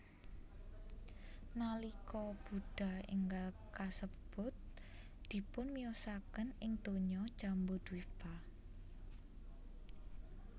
Nalika Buddha énggal kasebut dipunmiyosaken ing donya Jambudvipa